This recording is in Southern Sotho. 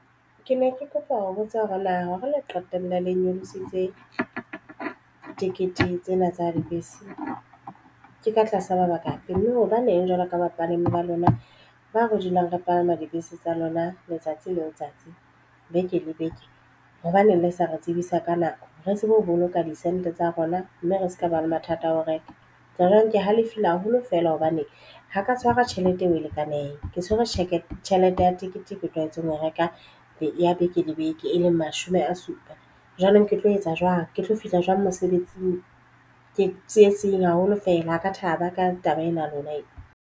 Ke ne ke kopa ho botsa hore na ho re le qetelle le nyolositse tikete tsena tsa dibese ke ka tlasa mabaka hape, mme hobaneng jwalo ka bapalami ba lona ba re dulang re palama dibese tsa lona letsatsi le letsatsi beke le beke. Hobaneng le sa re tsebisa ka nako re tsebe ho boloka di send tsa rona mme re se ka ba le mathata a ho reka tsona. Jwale ne ke halefile haholo fela hobane ha ka tshwara tjhelete eo e lekaneng ke tshwere tjhelete. Tjhelete ya teng e ketekwe tlwaetseng ho e reka ya beke le beke, e leng mashome a supa jwanong. Ke tlo etsa jwang, ke tlo fihla jwang mosebetsing. Ke tsietsing haholo fela ha ka thaba ka taba ena ya lona.